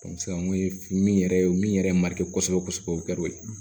min yɛrɛ ye min yɛrɛ ma kosɛbɛ kosɛbɛ o ka d'o ye